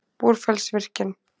Búrfellsvirkjun